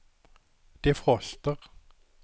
defroster